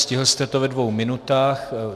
Stihl jste to ve dvou minutách.